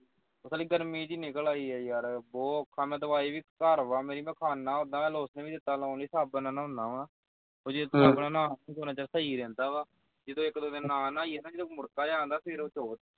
ਪਤਾ ਨੀ ਗਰਮੀ ਜੀ ਨਿੱਕਲ ਆਈ ਈ ਯਾਰ ਬਹੁਤ ਔਖਾ ਮੈਂ ਦਵਾਈ ਵੀ ਘਰ ਵਾਂ ਮੇਰੀ ਮੈਂ ਖਾਨਾ ਉੱਦਾਂ lotion ਵੀ ਦਿੱਤਾ ਲਾਉਣ ਲਈ ਸਾਬਣ ਨਾਲ ਨਾਉਂਦਾ ਵਾਂ ਉਹ ਜੇ ਸਾਬਣ ਨਾਲ ਉਨ੍ਹਾਂ ਦਿਨ ਸਹੀ ਰਹਿੰਦਾ ਵਾਂ ਕਿਸੇ ਇਕ ਦੋ ਦਿਨ ਨਾ ਨਾਈਏ ਤਾਂ ਜਦੋਂ ਮੁੜਕਾ ਜਾ ਆਉਂਦਾ ਫਿਰ